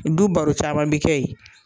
Du baro caman bi kɛ yen